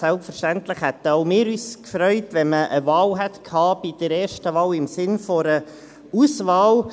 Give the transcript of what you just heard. Selbstverständlich hätten auch wir uns gefreut, wenn man bei der ersten Wahl eine Wahl gehabt hätte, im Sinn einer Auswahl.